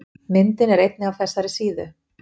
Myndin er einnig af þessari síðu.